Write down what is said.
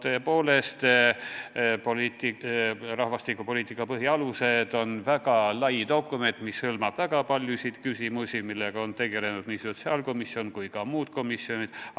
Tõepoolest, "Rahvastikupoliitika põhialused aastani 2035" on väga laiahaardeline dokument, mis hõlmab väga paljusid küsimusi, millega on tegelenud nii sotsiaalkomisjon kui ka muud komisjonid.